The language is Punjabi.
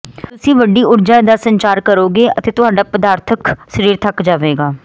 ਤੁਸੀਂ ਵੱਡੀ ਊਰਜਾ ਦਾ ਸੰਚਾਰ ਕਰੋਗੇ ਅਤੇ ਤੁਹਾਡਾ ਪਦਾਰਥਕ ਸਰੀਰ ਥੱਕ ਜਾਵੇਗਾ